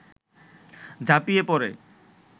ঝাঁপিয়ে পড়ে